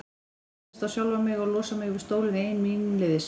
Ég varð að treysta á sjálfa mig og losa mig við stólinn ein míns liðs.